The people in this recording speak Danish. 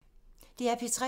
DR P3